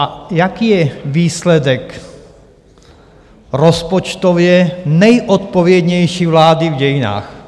A jaký je výsledek rozpočtově nejodpovědnější vlády v dějinách?